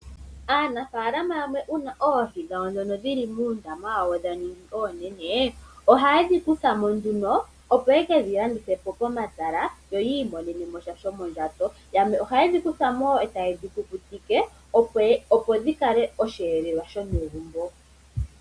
Aanafaalama yamwe uuna oohi dhawo ndhono dhili muundama wawo dha ningi oonene, ohaye dhi kuthamo nduno opo ye kedhi landithe po komatala, yo yi imonene mo sha shomondjato. Yamwe ohaye dhi kuthamo wo eta yedhi kukutike opo dhi kale osheelelwa shomegumbo.